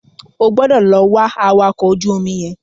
O gbọdọ̀ lọ wá awakọ̀ ojú omi yẹn.